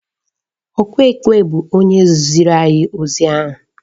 Ọkụ ekwe bụ onye ziri anyị ozi ahụ